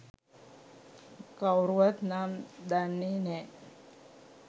කව්රුවත් නම් දන්නේ නෑ.